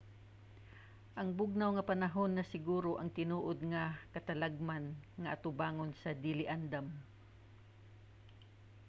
ang bugnaw nga panahon ra siguro ang tinuod nga katalagman nga atubangon sa dili andam